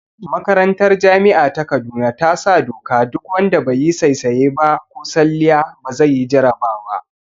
Makarantar jami'a ta kaduna ta sa doka duk wanda be yi saisaya ba ko salliya ba zai yi jarabawa